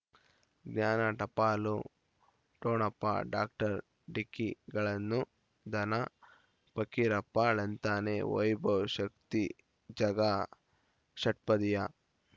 ಜ್ಞಾನ ಟಪಾಲು ಠೊಣಪ ಡಾಕ್ಟರ್ ಢಿಕ್ಕಿ ಗಳನು ಧನ ಫಕೀರಪ್ಪ ಳಂತಾನೆ ವೈಭವ್ ಶಕ್ತಿ ಝಗಾ ಷಟ್ಪದಿಯ